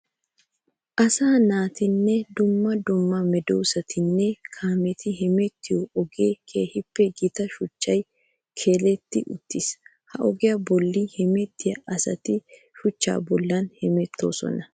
Asaa naatinne dumma dumma meedosatiinne kaametti hemettiyo ogiyan keehippe gita shuchchay keeletti uttiis. Ha ogiya bolla hemettiya asatti shuchcha bollan hemettosonna.